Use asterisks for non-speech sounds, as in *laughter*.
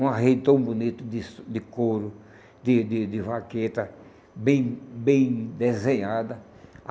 Um arredo tão bonito de *unintelligible* de couro, de de de vaqueta, bem bem desenhada.